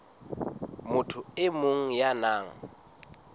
motho e mong ya nang